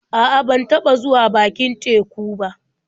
A'a, ban taɓa zuwa bakin teku ba.